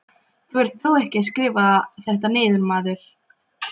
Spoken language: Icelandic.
Þú ert þó ekki að skrifa þetta niður, maður!